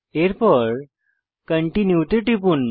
এরপর কন্টিনিউ তে টিপুন